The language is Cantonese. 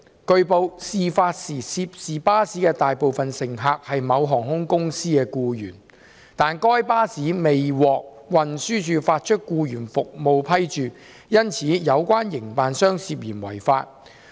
據報，事發時涉事巴士的大部分乘客是某航空公司的僱員，但該巴士未獲運輸署發出僱員服務批註，因此有關營辦商涉嫌違法。